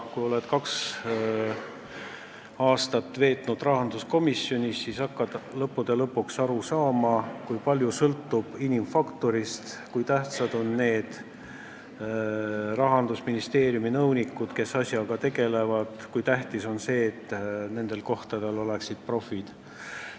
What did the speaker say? Kui oled kaks aastat veetnud rahanduskomisjonis, siis hakkad lõpuks aru saama, kui palju sõltub inimfaktorist, kui tähtsad on Rahandusministeeriumi nõunikud, kes asjaga tegelevad, kui tähtis on, et nendel kohtadel oleksid profid.